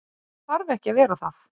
En hann þarf ekki að vera það.